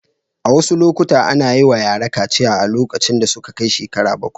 A wasu lokuta ana yi wa yara kaciya lokacin da suka kai shekara bakwai.